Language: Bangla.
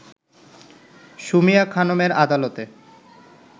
সুমিয়া খানমের আদালতে